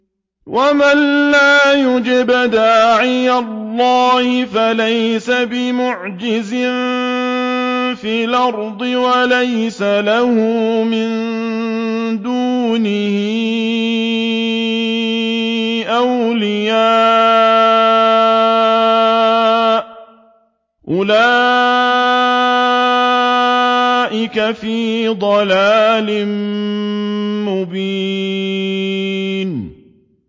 وَمَن لَّا يُجِبْ دَاعِيَ اللَّهِ فَلَيْسَ بِمُعْجِزٍ فِي الْأَرْضِ وَلَيْسَ لَهُ مِن دُونِهِ أَوْلِيَاءُ ۚ أُولَٰئِكَ فِي ضَلَالٍ مُّبِينٍ